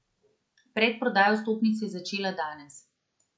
Predprodaja vstopnic se je začela danes.